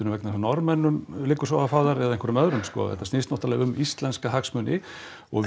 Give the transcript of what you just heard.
vegna þess að Norðmönnum liggur svo á að fá þær eða einhverjum öðrum sko þetta snýst náttúrulega um íslenska hagsmuni og við